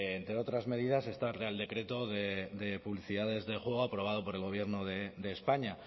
entre otras medidas está el real decreto de publicidades de juego aprobado por el gobierno de españa